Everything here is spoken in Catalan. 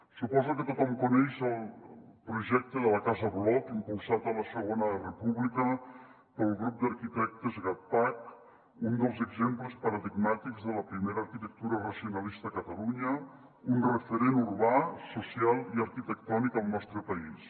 suposo que tothom coneix el projecte de la casa bloc impulsat a la segona república pel grup d’arquitectes gatcpac un dels exemples paradigmàtics de la primera arquitectura racionalista a catalunya un referent urbà social i arquitectònic al nostre país